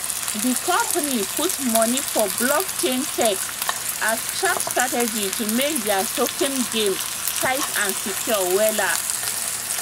the company put money for blockchain tech as sharp strategy to make their token game tight and secure wella